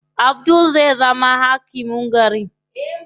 Abdul zai zama hakimin garin.